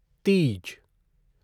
Teej